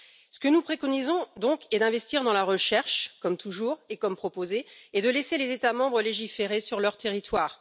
Ce que nous préconisons donc est d'investir dans la recherche, comme toujours et comme proposé, et de laisser les États membres légiférer sur leur territoire.